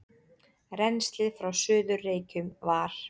Rennslið frá Suður-Reykjum var